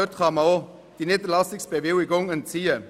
Ihnen kann man die Niederlassungsbewilligung entziehen.